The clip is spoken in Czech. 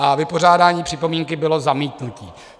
A vypořádání připomínky bylo zamítnutí.